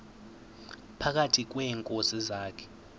phakathi kweenkosi zakhe